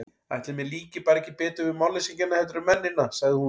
Ætli mér líki bara ekki betur við málleysingjana heldur en mennina, sagði hún.